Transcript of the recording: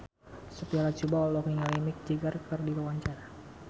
Sophia Latjuba olohok ningali Mick Jagger keur diwawancara